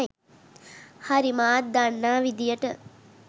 හරි මාත් දන්නා විදිහට.